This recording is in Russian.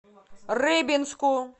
рыбинску